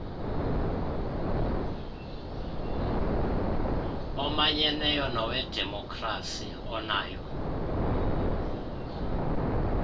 omanyeneyo nowedemokhrasi onakho